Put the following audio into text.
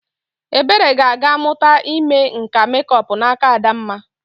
Ebere ga-aga mụta ime nka mekup n'aka Adamma.